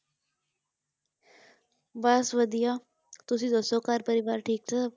ਬਸ ਵਧੀਆ ਤੁਸੀਂ ਦੱਸੋ ਘਰ ਪਰਿਵਾਰ ਠੀਕ ਠਾਕ?